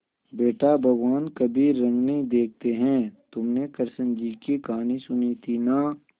बेटा भगवान कभी रंग नहीं देखते हैं तुमने कृष्ण जी की कहानी सुनी थी ना